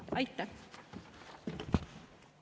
Aitäh!